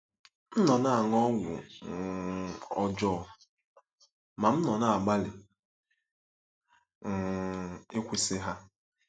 M nọ na-aṅụ ọgwụ um ọjọọ, ma m nọ na-agbalị um ịkwụsị ha.